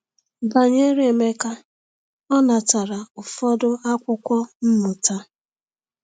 Banyere Emeka, ọ natara ụfọdụ akwụkwọ mmụta.